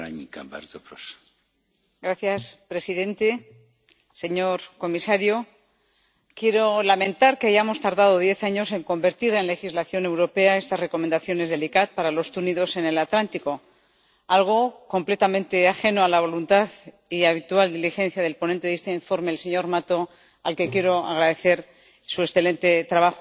Señor presidente, señor comisario, quiero lamentar que hayamos tardado diez años en convertir en legislación europea estas recomendaciones del ICCAT para los túnidos en el Atlántico, algo completamente ajeno a la voluntad y habitual diligencia del ponente de este informe, el señor Mato, al que quiero agradecer su excelente trabajo.